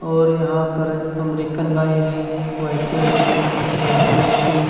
और यहां पर अमरिकन गाये हैं व्हाइट कलर की रेड कलर की।